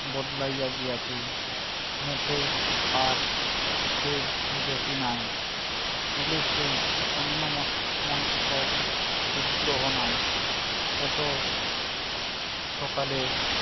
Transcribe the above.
বদলাইয়া গিয়াছে। মুখে আর সেই যতি নাই। চুলের সেই অন্য মন~ মনস্ক বিদ্রোহ নাই। এত সকালেও